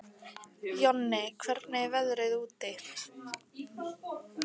Jonni, hvernig er veðrið úti?